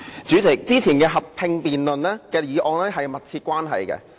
主席，以往進行合併辯論的議題是有密切關係的。